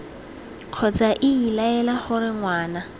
kgotsa iii laela gore ngwana